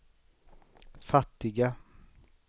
fattiga